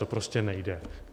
To prostě nejde.